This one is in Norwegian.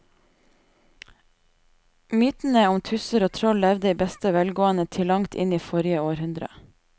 Mytene om tusser og troll levde i beste velgående til langt inn i forrige århundre.